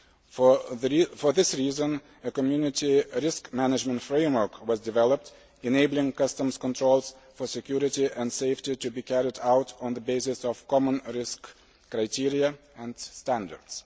For this reason, a Community risk management framework was developed enabling customs controls for security and safety to be carried out on the basis of common risk criteria and standards.